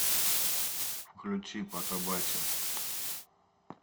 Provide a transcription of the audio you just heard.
включи потабачим